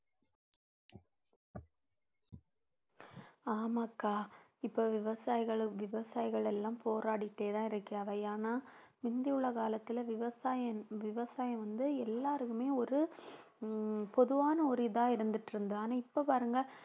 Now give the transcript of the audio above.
ஆமாக்கா இப்ப விவசாயிகளும் விவசாயிகள் எல்லாம் போராடிட்டேதான் இருக்கு அதை ஆனால் முந்தி உள்ள காலத்துல விவசாயம் விவசாயம் வந்து எல்லாருக்குமே ஒரு உம் பொதுவான ஒரு இதா இருந்துட்டு இருந்தது ஆனா இப்ப பாருங்க